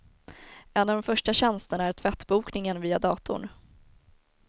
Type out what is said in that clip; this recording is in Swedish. En av de första tjänsterna är tvättbokningen via datorn.